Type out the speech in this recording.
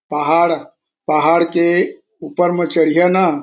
पहाड़-पहाड़ के ऊपर म चढ़ीहा ना--